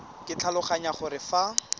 ke tlhaloganya gore fa go